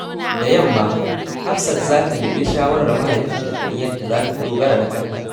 Da yamma, Hafsat za ta nemi shawarar mahaifinta kan yadda za ta dogara da kanta.